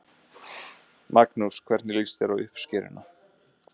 Magnús: Hvernig líst þér á uppskeruna?